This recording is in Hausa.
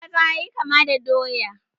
Gwaza ya yi kama da doya.